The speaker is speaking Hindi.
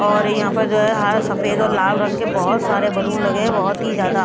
और यहां पर जो है हरा सफेद और लाल रंग के बहुत सारे बलून लगे हैं बहुत ही ज्यादा।